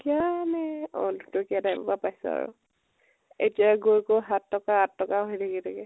কীয়া নে অ দুটকীয়া time ৰ পৰা পাইছো আৰু । এতিয়া গৈ গৈ সাত টকা আঠ টকা হৈ থাকিলেগে